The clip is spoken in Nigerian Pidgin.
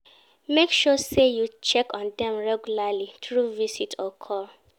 make sure say you check on them regularly through visit or call